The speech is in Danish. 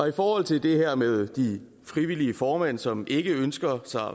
i forhold til det her med de frivillige formænd som ikke ønsker sig